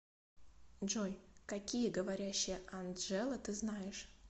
джой какие говорящая анджела ты знаешь